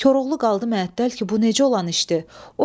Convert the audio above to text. Koroğlu qaldı mətəldə ki, bu necə olan işdir?